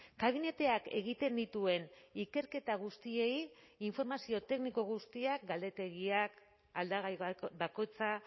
kabineteak egiten dituen ikerketa guztiei informazio tekniko guztiak galdetegiak aldagai bakoitza